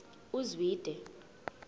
uzwide